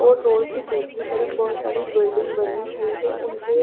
ओर road की दूसरी तरफ बहोत सारी बिल्डिंग बनी हुई है उनके--